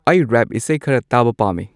ꯑꯩ ꯔꯦꯞ ꯏꯁꯩ ꯈꯔ ꯇꯥꯕ ꯄꯥꯝꯃꯤ